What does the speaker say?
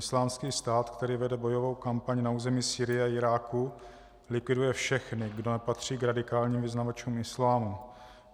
Islámský stát, který vede bojovou kampaň na území Sýrie a Iráku, likviduje všechny, kdo nepatří k radikálním vyznavačům islámu.